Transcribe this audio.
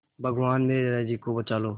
भगवान मेरे दादाजी को बचा लो